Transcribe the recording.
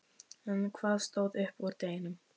En hvað stóð upp úr deginum?